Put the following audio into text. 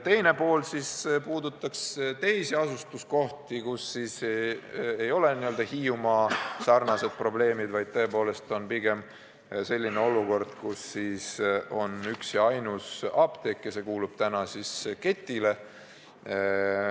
Teine pool puudutaks teisi asustuskohti, kus ei ole Hiiumaa omaga sarnast probleemi, vaid on selline olukord, kus üks ja ainus apteek kuulub ketile.